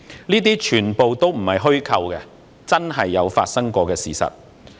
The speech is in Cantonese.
這些全部都並非虛構，是真的發生過的事實。